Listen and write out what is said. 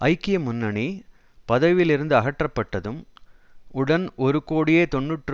ஐக்கிய முன்னணி பதவியில் இருந்து அகற்றப்பட்டதும் உடன் ஒரு கோடியே தொன்னூற்று